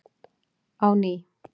á ný.